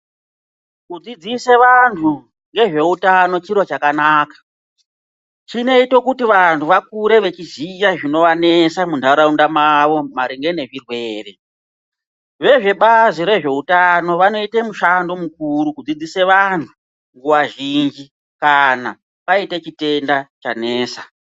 Kudzidzise vanhu ngezveutano chiro chakanaka. Chinoite kuti vantu vakure veiziya zvinovanesa muntaraunda mavo maringe nezvirwere. Vezvebazi rezveutano vanoite mushando mukuru kudzidzise vanhu nguva zhinji kana paine chitenda chanesa.